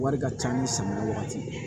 Wari ka ca ni samiya wagati ye